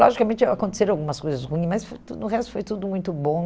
Logicamente, aconteceram algumas coisas ruins, mas foi tudo no resto foi tudo muito bom.